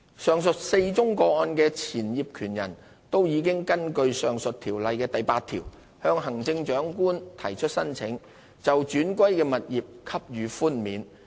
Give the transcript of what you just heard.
上述4宗個案的前業權人都已根據上述條例的第8條向行政長官提出呈請，就轉歸的物業給予寬免。